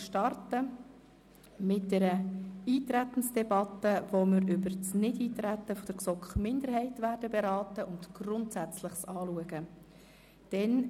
Zuerst führen wir eine Eintretensdebatte, bei der wir über das Nichteintreten der GSoK-Minderheit beraten und Grundsätzliches diskutieren.